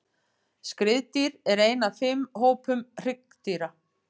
Skriðdýr er einn af fimm hópum hryggdýra.